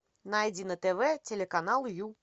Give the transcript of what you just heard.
найди на тв телеканал ю